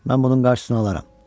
Mən bunun qarşısını alaram.